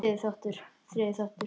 Þriðji þáttur